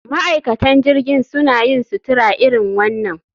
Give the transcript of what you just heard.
Ma'aikatan jirgin suna yin sutura irin wannan